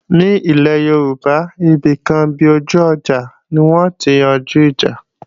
Ní ilé Yorùbá, ibìkan bi ojú ọjà ni wọn ó ti yanjú ìjà